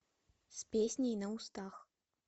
с песней на устах